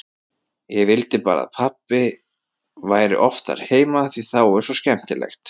Ég vildi bara að pabbi væri oftar heima því þá er svo skemmtilegt.